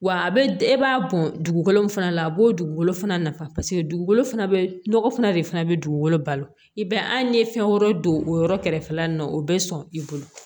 Wa a bɛ e b'a bɔn dugukolo min fana la a b'o dugukolo fana nafa paseke dugukolo fana bɛ nɔgɔ fana de fana bɛ dugukolo balo i ye fɛn wɛrɛ don o yɔrɔ kɛrɛfɛla la nin na o bɛ sɔn i bolo